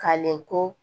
Kalen ko